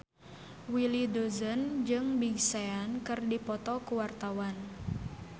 Willy Dozan jeung Big Sean keur dipoto ku wartawan